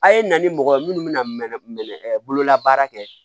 A' ye na ni mɔgɔ ye minnu bɛna mɛn bololabaara kɛ